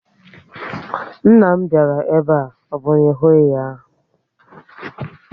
Nna m bịara ebe a, ọ bụ na ị hụghị ya?